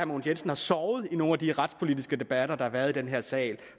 mogens jensen har sovet under nogle af de retspolitiske debatter der har været i den her sal